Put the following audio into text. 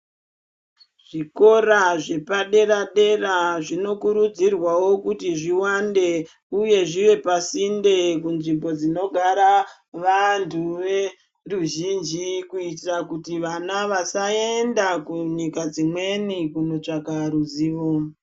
Zvikora zvepadera dera zvinokurudzirwawo kuti zviwande uye zviwepasinde kunzvimbo dzinogara vantu vendwuzhinji kuitira kuti vana vasaenda kunyika dzimweni kunotsvake ruzivo.